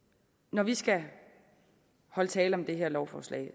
når vi skal holde tale om det her lovforslag